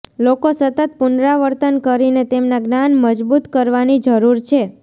લોકો સતત પુનરાવર્તન કરીને તેમના જ્ઞાન મજબૂત કરવાની જરૂર છે